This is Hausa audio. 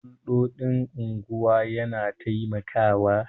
Hulɗoɗin unguwa yana taimakawa